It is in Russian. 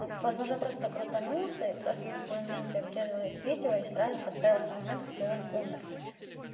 а возможно просто крутанулся и просто на том моменте обрезалось видео и сразу подставился момент где он умер